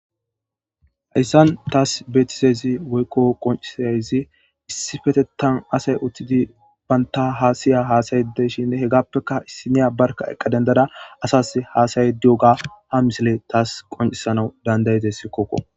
hayssan taas betiseyzi woykko qoncisayzi issifetetan asay uttidi banta haasiya haasayedeshinne hegappeka issiniya barka eqqa dendada asas haasayediyoga ha misile taas qoncisanau dandayidess kokko